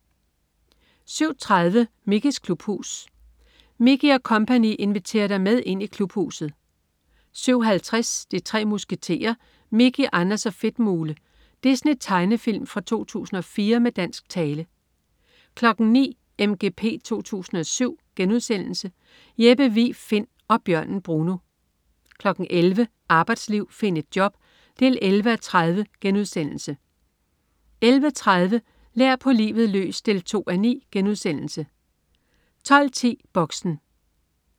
07.30 Mickeys klubhus. Mickey og co. inviterer dig med ind i Klubhuset! 07.50 De Tre Musketerer Mickey, Anders & Fedtmule. Disney-tegnefilm fra 2004 med dansk tale 09.00 MGP 2007.* Jeppe Vig Find og bjørnen Bruno 11.00 Arbejdsliv. Find et job! 11:30* 11.30 Lær på livet løs 2:9* 12.10 Boxen